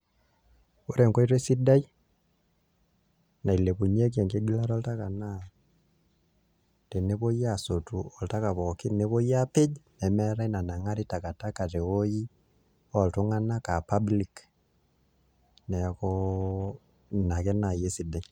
Ore enkoitoi sidai nailepunyieki enkigilata oltaka naa tenepuoi aasotu olataka pookin nepuoi aapej nemeetai nanang'ari takataka tewuoi oltung'anak aa public nekuu ina ake naai esidai.